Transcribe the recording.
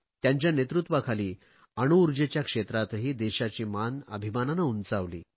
त्यांच्या नेतृत्वाखाली अणु ऊर्जेच्या क्षेत्रातही देशाची मान अभिमानाने उंचावली